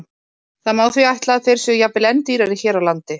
Það má því ætla að þeir séu jafnvel enn dýrari hér á landi.